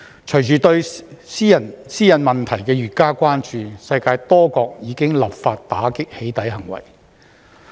隨着對私隱問題的越加關注，世界多國已立法打擊"起底"行為。